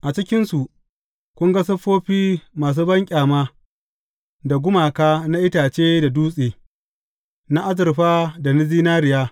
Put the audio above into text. A cikinsu, kun ga siffofi masu banƙyama da gumaka na itace da dutse, na azurfa da zinariya.